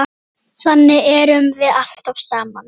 Þannig erum við alltaf saman.